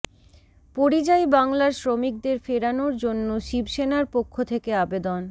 পরিযায়ী বাংলার শ্রমিকদের ফেরানোর জন্য শিবসেনার পক্ষ থেকে আবেদন